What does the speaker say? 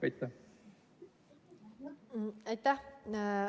Aitäh!